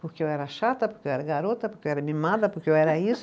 Porque eu era chata, porque eu era garota, porque eu era mimada, porque eu era isso.